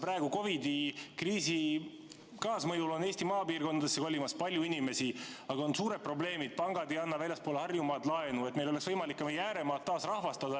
Praegu, COVID-i kriisi kaasmõjul on Eesti maapiirkondadesse kolimas palju inimesi, aga neil on suured probleemid, sest pangad ei anna väljaspool Harjumaad laenu ja nii ei ole meil võimalik ka ääremaad taasrahvastada.